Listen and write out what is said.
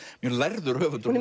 mjög lærður höfundur hún